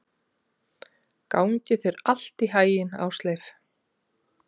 Gangi þér allt í haginn, Ásleif.